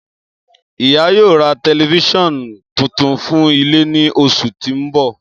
Iya yoo ra tẹlifisiọnu tuntun fun ile ni oṣu ti n bọ.